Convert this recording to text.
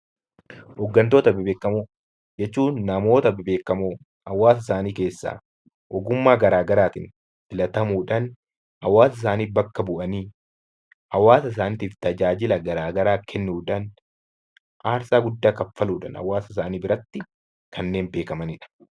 Hooggantoota bebbeekamoo jechuun, namoota bebbeekamoo hawaasa isaanii keessaa ogummaa garaagaraatiin filatamuudhaan hawaasa isaanii bakka bu'anii hawaasa isaaniitiif tajaajila garaagaraa kennuudhaan, aarsaa guddaa kanfaluudhaan hawaasa isaanii biratti kanneen beekamanidha.